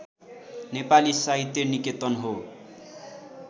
नेपाली साहित्य निकेतन हो